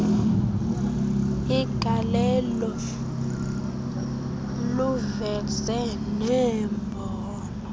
igalelo luveze neembono